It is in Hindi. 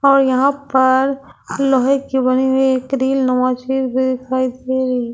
और यहाँ पर लोहे की बनी हुई है ।